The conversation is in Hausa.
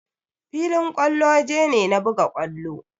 Filin kwallo waje ne na buga kwallo.